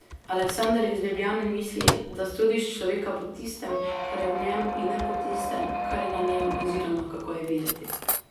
Aleksander iz Ljubljane misli, da sodiš človeka po tistem, kar je v njem, in ne po tistem, kar je na njem oziroma kako je videti.